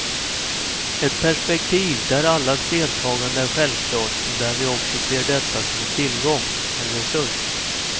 Ett perspektiv där allas deltagande är självklart och där vi också ser detta som en tillgång, en resurs.